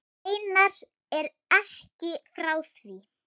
Steinar er ekki frá því.